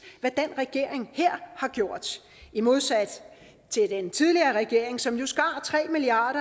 hvad den regering her har gjort modsat den tidligere regering som jo skar tre milliard